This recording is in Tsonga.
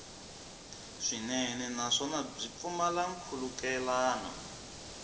swinene naswona byi pfumala nkhulukelano